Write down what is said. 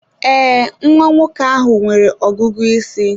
Ee, nwa nwoke ahụ nwere ọgụgụ isi.